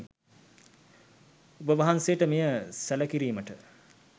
ඔබවහන්සේට මෙය සැළකිරීමට